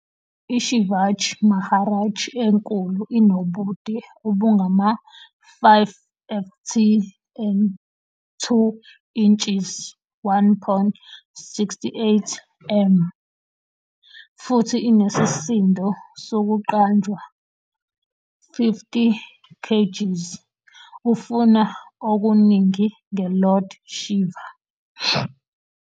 IShivaji Maharaj enkulu inobude obungama-5ft and 2 inches, 1.68m, futhi inesisindo sokuqanjwa 50kgs ufuna okuningi nge-Lord Shiva.